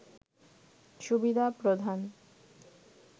সুবিধা প্রদান